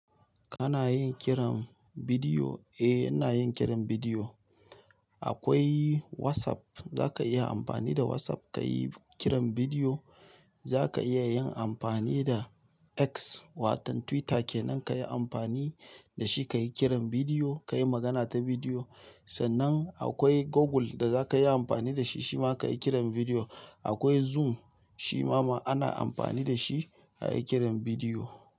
Kana yin kiran bidiyo? Eh, ina yin kiran bidiyo. Akwai WhatsApp, zaka iya amfani da WhatsApp ka yi kiran bidiyo. Zaka iya yin amfani da X wato Twitter kenan ka yi amfani da shi ka yi kiran bidiyo, ka yi magana ta bidiyo. Sannan akwai Google da za ka iya amfani da shi shima ka yi kiran bidiyo. Akwai Zoom shima ana amfani da shi a yi kiran bidiyo.